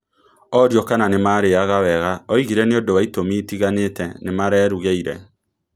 O rĩo kana nĩmarĩaga wega, oigire nĩũndũ wa itũmi itiganĩte nĩmarerugĩire